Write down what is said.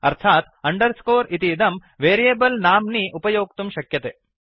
अर्थात् अंडरस्कोर इतीदं वेरियेबल् नाम्नि उपयोक्तुं शक्यते